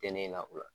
Tɛ ne la o la